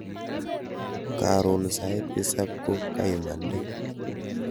Karon sait tisab ko kaimande